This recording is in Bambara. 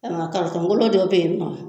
kolon dɔ be yen nɔ